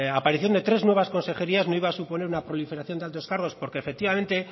aparición de tres nuevas consejerías no iba a suponer una proliferación de altos cargos porque efectivamente